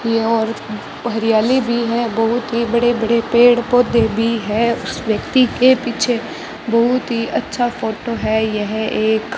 चारों ओर हरियाली भी है बहुत ही बड़े बड़े पेड़ पौधे भी है उस व्यक्ति के पीछे बहुत ही अच्छा फोटो है यह एक --